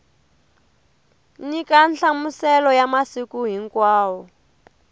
nyika nhlamuselo ya masiku hinkwawo